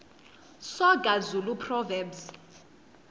soga zulu proverbs